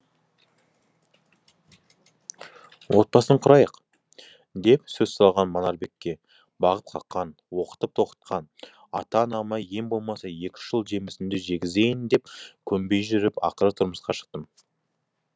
отбасын құрайық деп сөз салған манарбекке бағып қаққан оқытып тоқытқан ата анама ең болмаса екі үш жыл жемісімді жегізейін деп көнбей жүріп ақыры тұрмысқа шықтым